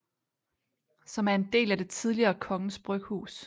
Som er en del af det tidligere kongens bryghus